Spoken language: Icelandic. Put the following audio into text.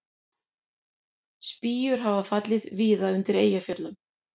Spýjur hafa fallið víða undir Eyjafjöllum